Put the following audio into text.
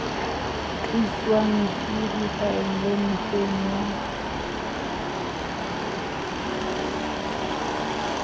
tliswang ke dikgaello mekgweng ya